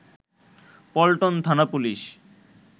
পল্টন থানা পুলিশ